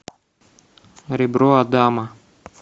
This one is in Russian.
ребро адама